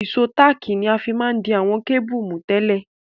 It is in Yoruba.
Ìsó tààkì ni a ma n fi di àwon cable mú tẹ́lẹ̀